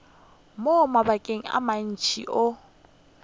mo mabakeng a mantši o